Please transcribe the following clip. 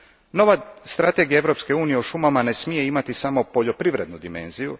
Nova strategija Europske unije o šumama ne smije imati samo poljoprivrednu dimenziju.